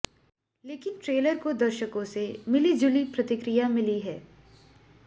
लेकिन ट्रेलर को दर्शकों से मिली जुली प्रतिक्रिया मिली है